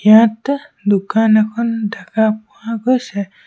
ইয়াত দোকান এখন দেখা পোৱা গৈছে।